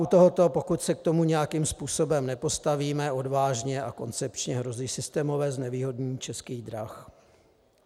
U tohoto, pokud se k tomu nějakým způsobem nepostavíme odvážně a koncepčně, hrozí systémové znevýhodnění Českých drah.